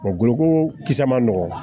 goloko kisɛ ma nɔgɔn